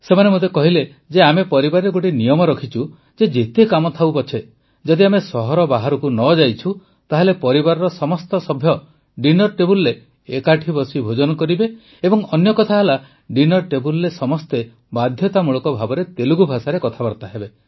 ସେମାନେ ମୋତେ କହିଲେ ଯେ ଆମେ ପରିବାରରେ ଗୋଟିଏ ନିୟମ ରଖିଛୁ ଯେ ଯେତେ କାମ ଥାଉ ପଛେ ଯଦି ଆମେ ସହର ବାହାରକୁ ନ ଯାଇଛୁ ତାହେଲେ ପରିବାରର ସମସ୍ତ ସଭ୍ୟ ଡିନର ଟେବୁଲରେ ଏକାଠି ବସି ଭୋଜନ କରିବା ଏବଂ ଅନ୍ୟକଥା ହେଲା ଡିନର ଟେବୁଲରେ ସମସ୍ତେ ବାଧ୍ୟତାମୂଳକ ଭାବେ ତେଲୁଗୁ ଭାଷାରେ କଥାବାର୍ତ୍ତା ହେବେ